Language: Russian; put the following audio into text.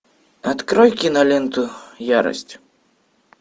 открой киноленту ярость